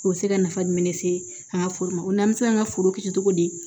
O bɛ se ka nafa di min ne ka foli ma ko n bɛ se ka n ka foro kɛ cogo di